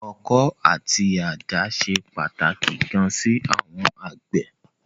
Ọkọ́ àti àdá ṣe pàtàkì gan sí àwọn àgbẹ̀.